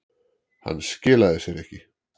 Hann skilaði sér ekki